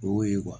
O y'o ye